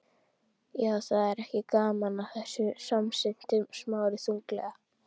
Já, það er ekki gaman að þessu- samsinnti Smári þunglega.